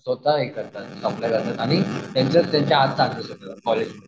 स्वतः हे करतात करतात आणि त्यांच्या त्यांच्या